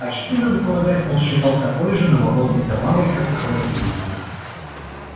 очки надо полагать он считал такой же новомодной забавой как и холодильник